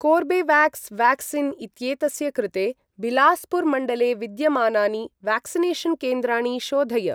Corbevax vaccine इत्येतस्य कृते बिलास्पुर् मण्डले विद्यमानानि व्याक्सिनेषन् केन्द्राणि शोधय।